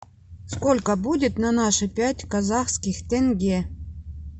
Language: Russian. сколько будет на наши пять казахских тенге